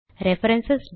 reference